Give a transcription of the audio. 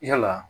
Yala